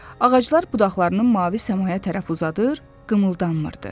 Ağaclar budaqlarını mavi səmaya tərəf uzadır, qımıldanmırdı.